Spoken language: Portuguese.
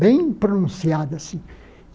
Bem pronunciada, assim.